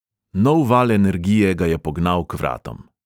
Nov val energije ga je pognal k vratom.